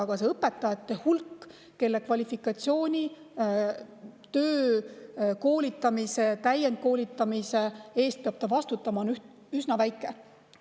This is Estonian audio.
Aga see õpetajate hulk, kelle kvalifikatsiooni, töö, koolitamise ja täiendkoolitamise eest peab ta vastutama, on üsna väike.